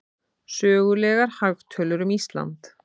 Sögulegar hagtölur um Ísland.